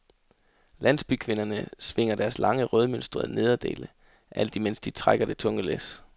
Landsbykvinderne svinger deres lange rødmønstrede nederdele, alt imens de trækker det tunge læs.